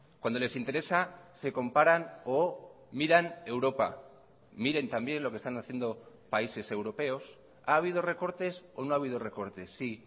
cuando les interesa se comparan o miran europa miren también lo que están haciendo países europeos ha habido recortes o no ha habido recortes sí